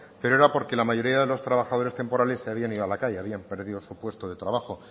pero era porque la mayoría de los trabajadores temporales se habían ido a la calle habían perdido su puesto de trabajo